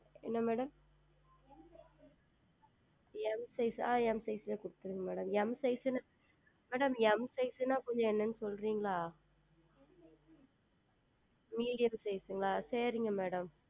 என்ன MadamM Size ஆஹ் M SIze லியே கொடுத்திருங்கள் MadamM Size என்றால் MadamM Size என்றால் கொஞ்சம் என்ன என்று சொல்லுகிறீர்களா Medium ங்களா சரிங்கள் Madam